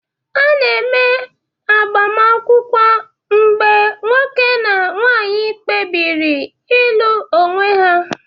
A na-eme agbamakwụkwọ mgbe nwoke na nwanyị kpebiri ịlụ onwe ha